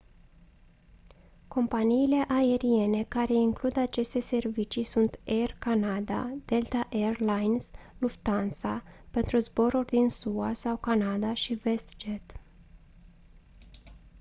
companiile aeriene care includ aceste servicii sunt air canada delta air lines lufthansa pentru zboruri din sua sau canada și westjet